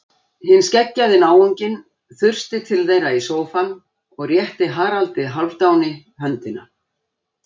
Hinn skeggjaði náunginn þusti til þeirra í sófann og rétti Haraldi Hálfdáni höndina.